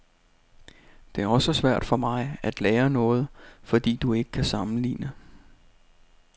Det er også svært for mig at lære noget, fordi du ikke kan sammenligne.